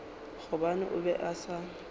gobane o be a sa